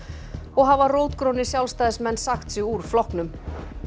og hafa rótgrónir Sjálfstæðismenn sagt sig úr flokknum